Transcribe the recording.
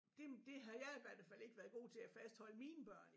Det det har jeg i hvert fald ikke været god til at fastholde mine børn i